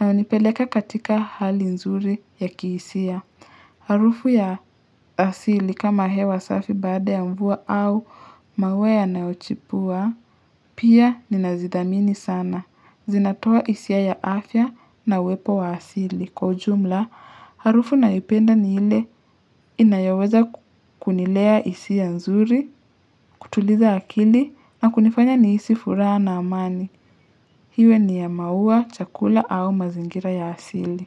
na hunipeleka katika hali nzuri ya kihisia. Harufu ya asili kama hewa safi baada ya mvua au mawe ya naochipua, pia ninazidhamini sana. Zinatoa isia ya afya na uwepo wa asili. Kwa ujumla, harufu na ipenda ni ile inayoweza kunilea hisia nzuri, kutuliza akili na kunifanya nihisi furaha na amani. Hiwe ni ya maua, chakula au mazingira ya asili.